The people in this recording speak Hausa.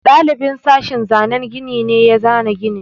Ɗalibin sashin zanan gini ne ya zana ginin.